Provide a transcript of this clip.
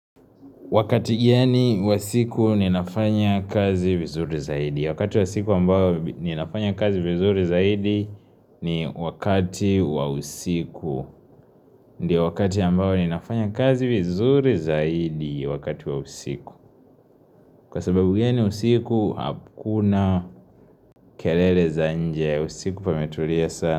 Wakati gani wa siku ninafanya kazi vizuri zaidi. Wakati wa siku ambao ninafanya kazi vizuri zaidi ni wakati wa usiku. Ndio wakati ambao ninafanya kazi vizuri zaidi, wakati wa usiku. Kwa sababu gani usiku, hakuna kelele za nje. Usiku pametulia sana.